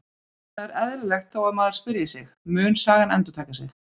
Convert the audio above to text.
Það er eðlilegt þó að maður spyrji sig: Mun sagan endurtaka sig?